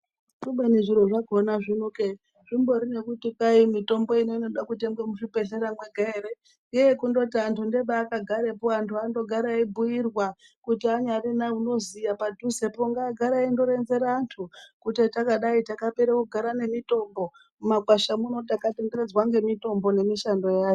Kubeni zviro zvakhona zvinoke zvimbori nekuti kwai mitombo ino inoda kutengwa muzvibhendleya mwega ere? Ngeyekundoti antu agare eibhiirwa kuti anyari nounoziya padhuze po ngaagare eindoronzera antu kuti hatakadai takapera kugara nemitombo. Mumakwasha muno takatenderedzwa ngemitombo nemishando yayo.